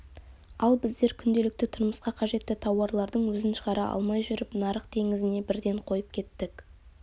ал біздер күнделікті тұрмысқа қажетті тауарлардың өзін шығара алмай жүріп нарық теңізіне бірден қойып кеттік